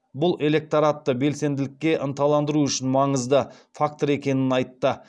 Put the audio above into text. бұл электоратты белсенділікке ынталандыру үшін маңызды фактор екенін айтты